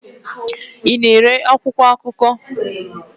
Ị na-ere akwụkwọ akụkọ?